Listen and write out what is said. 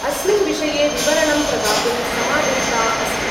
अस्मिन् विषये विवरणं प्रदातुं समादिष्टा अस्ति।